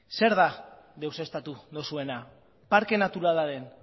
zer da deuseztatu duzuena parke naturalaren